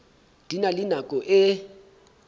di na le nako e